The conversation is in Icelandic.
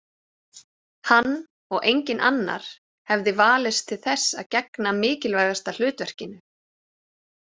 Hann og enginn annar hefði valist til þess að gegna mikilvægasta hlutverkinu.